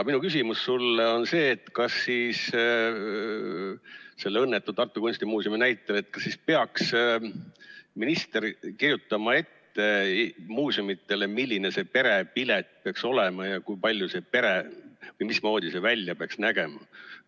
Minu küsimus sulle on see, et kas siis selle õnnetu Tartu Kunstimuuseumi näitel peaks minister kirjutama muuseumidele ette, milline see perepilet peaks olema või mismoodi see välja peaks nägema.